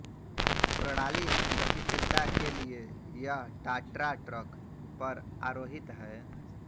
प्रणाली गतिशीलता के लिए यह टाट्रा ट्रक पर आरोहित है